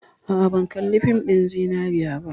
A'a, ban kalli fin ɗin Zinariya ba.